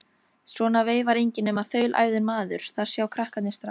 Svona veifar enginn nema þaulæfður maður, það sjá krakkarnir strax.